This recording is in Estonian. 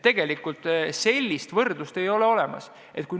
Tegelikult sellist võrdlust pole võimalik teha.